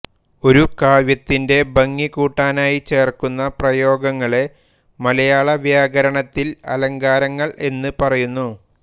ഒരു കാവ്യത്തിന്റെ ഭംഗി കൂട്ടാനായി ചേർക്കുന്ന പ്രയോഗങ്ങളെ മലയാളവ്യാകരണത്തിൽ അലങ്കാരങ്ങൾ എന്നു പറയുന്നു